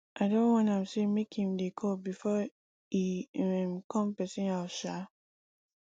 i don warn am sey make im dey call before e um come pesin house um